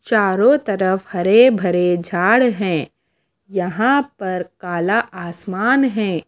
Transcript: चारों तरफ हरे भरे झाड़ है यहां पर काला आसमान है।